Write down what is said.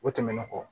O tɛmɛnen kɔ